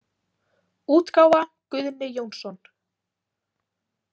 útgáfa Guðni Jónsson.